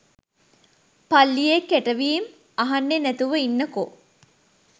පල්ලියේ කෙටවීම් අහන්නේ නැතිව ඉන්නකෝ